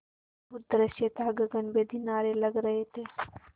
अद्भुत दृश्य था गगनभेदी नारे लग रहे थे